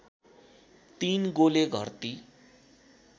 ३ गोले घर्ति